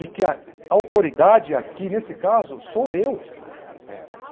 E que a autoridade aqui, nesse caso, sou eu.